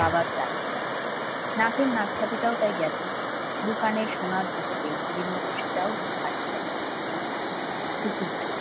বাবার চাকরি নাকের নাককাঠিটাও তাই গেছে দু কানে সোনার দুটো মতো সেটাও হাড়িয়ে পুকুর ঠারে